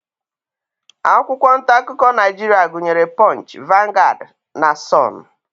Akwụkwọ ntaakụkọ Naijiria gụnyere punch, vanguard, the sun